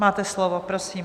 Máte slovo, prosím.